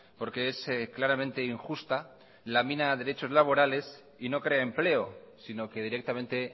porque es claramente injusta lamina derechos laborales y no crea empleo sino que directamente